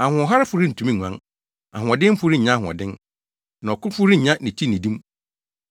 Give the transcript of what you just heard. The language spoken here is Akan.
Ahoɔharefo rentumi nguan. Ahoɔdenfo rennya ahoɔden, na ɔkofo rennya ne ti nnidi mu.